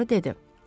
Puaro dedi.